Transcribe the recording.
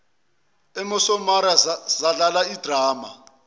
emosamaria zadlala idrama